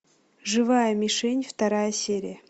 живая мишень вторая серия